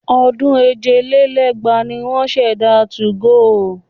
Ọdún èje lé lẹ́gbàá ni wọ́n ṣẹ̀dá 2go.